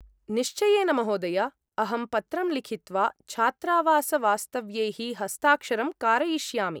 निश्चयेन महोदय! अहं पत्रं लिखित्वा छात्रावासवास्तव्यैः हस्ताक्षरं कारयिष्यामि।